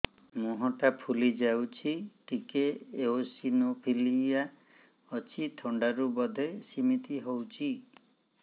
ମୁହଁ ଟା ଫୁଲି ଯାଉଛି ଟିକେ ଏଓସିନୋଫିଲିଆ ଅଛି ଥଣ୍ଡା ରୁ ବଧେ ସିମିତି ହଉଚି